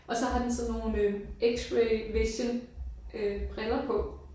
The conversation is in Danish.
Og så har den sådan nogle øh x-ray vision øh briller på